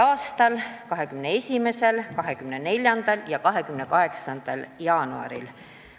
a 21., 24. ja 28. jaanuaril.